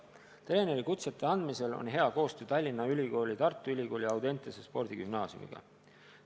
Treenerikutse andmisel on hea koostöö Tallinna Ülikooli, Tartu Ülikooli ja Audentese Spordigümnaasiumi vahel.